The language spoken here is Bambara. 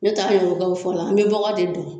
Ne ta ye o ga fɔ la an be bɔgɔ de don